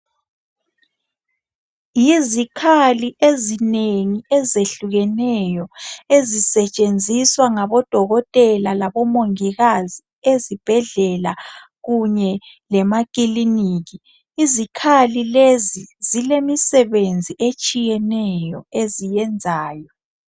Yizikhali ezinengi ezehlukeneyo ezisetshenziswa ngabodokotela labomongikazi ezibhedlela kunye lemakilikiki izikhali lezi zilemsebenzi etshiyeneyo eziyenzayo